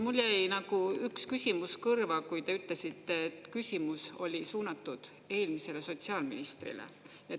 Mul jäi üks küsimus kõrva, kui te ütlesite, et küsimus oli suunatud eelmisele sotsiaalministrile.